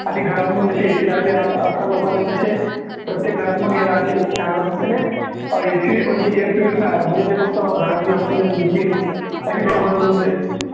आणि घरातनं मग जशी AC असं आजकाल लोकांनी तसे प्रत्येक घरात मग हे राहतील काय म्हणतात त्याले AC आणि air purifier म्हणजे ते फक्त घरात बी oxygen देतील अशी येऊन जाईल.